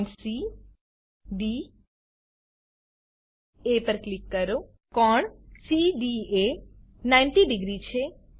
point C D A પર click કરો કોણ સીડીએ એ 900 છે